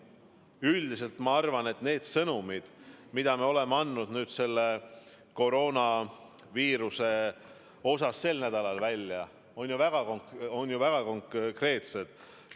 Üldiselt ma arvan, et need sõnumid, mida me oleme andnud koroonaviiruse kohta sel nädalal välja, on väga konkreetsed.